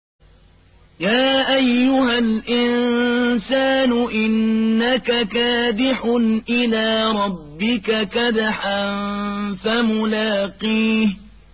يَا أَيُّهَا الْإِنسَانُ إِنَّكَ كَادِحٌ إِلَىٰ رَبِّكَ كَدْحًا فَمُلَاقِيهِ